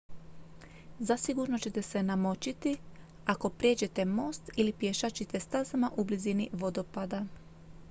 zasigurno ćete se namočiti ako prijeđete most ili pješačite stazama u blizini vodopada